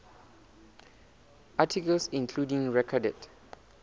articles including recorded